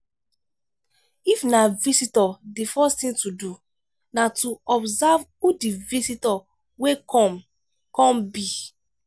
if na visitor di first thing to do na to observe who di visitor wey come come be